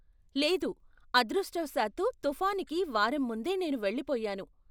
లేదు, అదృష్టవశాత్తు తుఫానుకి వారం ముందే నేను వెళ్ళిపోయాను.